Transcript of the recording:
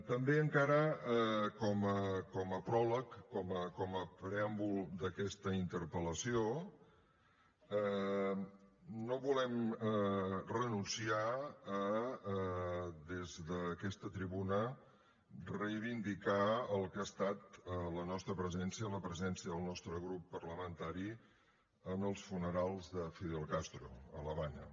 també encara com a pròleg com a preàmbul d’aquesta interpel·lació no volem renunciar des d’aquesta tribuna a reivindicar el que ha estat la nostra presència la presència del nostre grup parlamentari en els funerals de fidel castro a l’havana